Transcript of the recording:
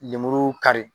Lemuru kari